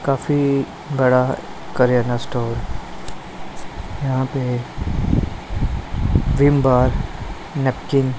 काफी बड़ा करेंना स्टोर यहां पे विम बार नैपकिन --